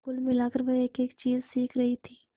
कुल मिलाकर वह एकएक चीज सीख रही थी